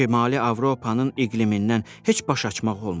Şimali Avropanın iqlimindən heç baş açmaq olmur.